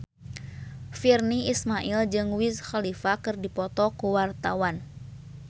Virnie Ismail jeung Wiz Khalifa keur dipoto ku wartawan